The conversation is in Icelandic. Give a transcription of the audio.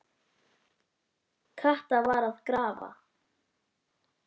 Kata var að grafa.